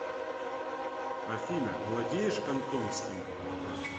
афина владеешь кантонским